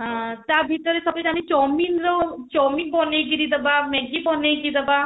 ଆ ତ ଭିତରେ suppose ଆମେ chow Mein ର chow Mein ବନେଇ କି ଦେବା Maggie ବନେଇ କି ଦେବା